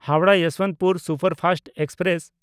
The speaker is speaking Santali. Howrah Yesvantpur superfast express